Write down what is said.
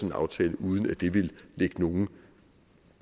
en aftale uden at det ville lægge nogen